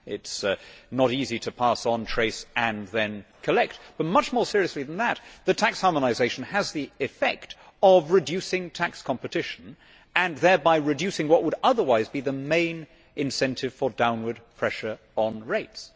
It is not easy to pass on, trace and then collect but, much more seriously than that, tax harmonisation has the effect of reducing tax competition and thereby reducing what would otherwise be the main incentive for downward pressure on rates.